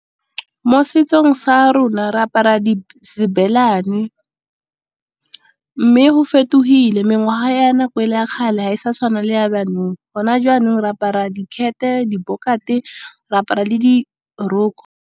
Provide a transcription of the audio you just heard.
Mo setsong sa rona re apara . Mme go fetogile mengwaga ya nako e le ya kgale, ga e sa tshwaneng le ya jaanong. Gona jaanong re apara dikhete, dibokate, re apara le diroko.